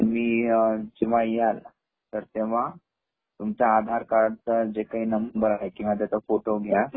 तुम्ही जेह्वा याल न तर तेह्वा तुमचा आधार कार्ड चा जे काही नंबर आहे किंवा त्याचा फोटो घ्या